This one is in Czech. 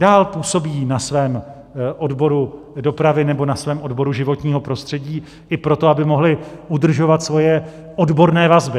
Dál působí na svém odboru dopravy nebo na svém odboru životního prostředí, i proto, aby mohli udržovat svoje odborné vazby.